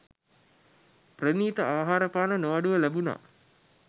ප්‍රණීත ආහාරපාන නොඅඩුව ලැබුණා.